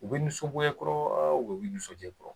U bɛ nisongoya i kɔrɔ u bɛ nisondiya i kɔrɔ?